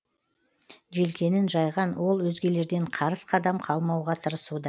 желкенін жайған ол өзгелерден қарыс қадам қалмауға тырысуда